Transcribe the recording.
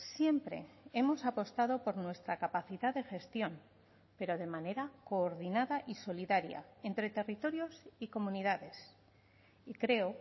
siempre hemos apostado por nuestra capacidad de gestión pero de manera coordinada y solidaria entre territorios y comunidades y creo